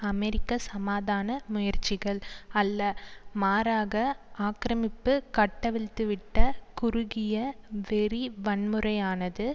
அமெரிக்க சமாதான முயற்சிகள் அல்ல மாறாக ஆக்கிரமிப்பு கட்டவிழ்த்து விட்ட குறுகிய வெறி வன்முறையானது